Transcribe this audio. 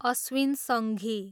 Ashwin Sanghi